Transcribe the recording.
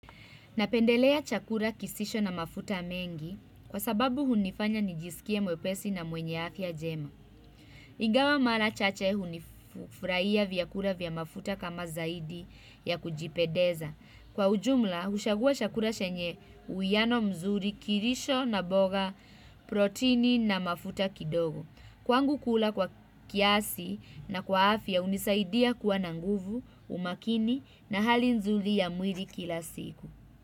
Napendelea chakula kisicho na mafuta mengi kwa sababu hunifanya nijisikie mwepesi na mwenye afya njema. Ingawa mara chache hufurahia vyakula vya mafuta kama zaidi ya kujipendeza. Kwa ujumla, huchagua chakula chenye uwiano mzuri kilicho na mboga protini na mafuta kidogo. Kwangu kula kwa kiasi na kwa afya hunisaidia kuwa na nguvu, umakini na hali nzuri ya mwili kila siku.